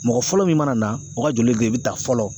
Mɔgɔ fɔlɔ min mana na o ka joli de be ta fɔlɔ